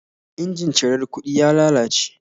Injin cirar kuɗin ya lalace